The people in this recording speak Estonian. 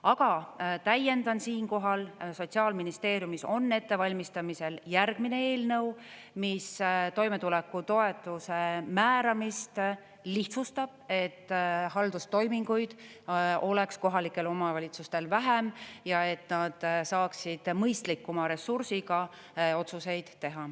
Aga täiendan siinkohal, Sotsiaalministeeriumis on ettevalmistamisel järgmine eelnõu, mis toimetulekutoetuse määramist lihtsustab, et haldustoiminguid oleks kohalikel omavalitsustel vähem ja et nad saaksid mõistlikuma ressursiga otsuseid teha.